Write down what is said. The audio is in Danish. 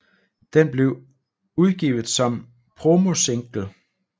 Den blev udgivet som en promosingle